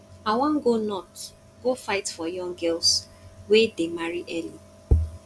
i wan go north go fight for young girls wey dey marry early